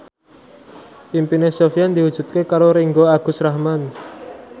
impine Sofyan diwujudke karo Ringgo Agus Rahman